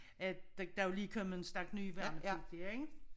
At der er jo lige kommet en stak nye værnepligtige ik